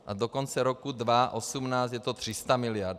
A do konce roku 2018 je to 300 mld.